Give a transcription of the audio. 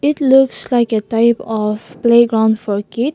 it looks like a type of playground for kids.